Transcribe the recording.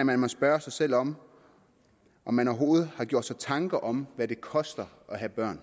at man må spørge sig selv om om man overhovedet har gjort sig tanker om hvad det koster at have børn